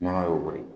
Nɔnɔ y'o bɔ ye